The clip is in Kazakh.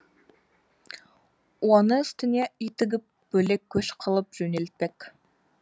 оны үстіне үй тігіп бөлек көш қылып жөнелтпек